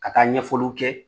Ka taa ɲɛfɔliw kɛ